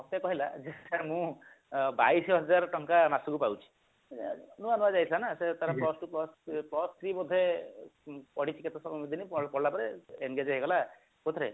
ମତେ କହିଲା ଯେ sir ମୁଁ ବାଇଶି ହଜାରେ ଟଙ୍କା ମାସକୁ ପାଉଛି ନୂଆ ନୂଆ ଯାଇଥିଲା ନା ସେ ତାର plus two plus three ବୋଧେ ପଢିଛି କେତେ ଦିନ କଲାପରେ engage ହେଇଗଲା ସେଥିରେ